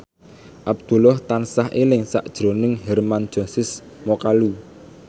Abdullah tansah eling sakjroning Hermann Josis Mokalu